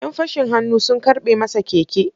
‘Yan fashin hannu sun karɓe masa keke.